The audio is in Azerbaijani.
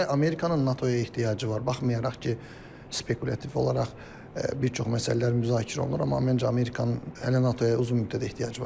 Hələ Amerikanın NATO-ya ehtiyacı var, baxmayaraq ki, spekulyativ olaraq bir çox məsələlər müzakirə olunur, amma mənəcə Amerikanın hələ NATO-ya uzun müddət ehtiyacı var.